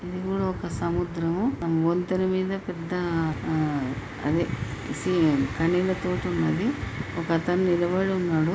ఇది కూడా ఒక సముద్రం వంతెనా మీద పెద్ద అ అది కనిల తోటి ఉన్నది ఒక అతను నిలబడి ఉన్నాడు.